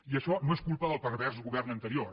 i això no és culpa del pervers govern anterior